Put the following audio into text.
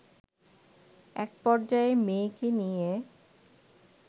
এক পর্যায়ে মেয়েকে নিয়ে